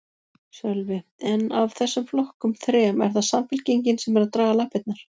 Sölvi: En af þessum flokkum þrem, er það Samfylkingin sem er að draga lappirnar?